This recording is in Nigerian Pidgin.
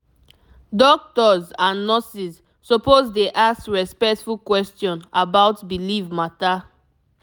doctors and nurses suppose dey ask respectful question about belief matter